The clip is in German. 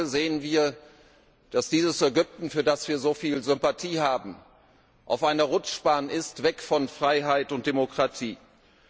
Heute sehen wir, dass dieses Ägypten, für das wir so viel Sympathie haben, auf einer Rutschbahn weg von Freiheit und Demokratie ist.